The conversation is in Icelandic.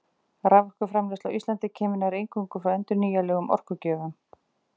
Raforkuframleiðsla á Íslandi kemur nær eingöngu frá endurnýjanlegum orkugjöfum.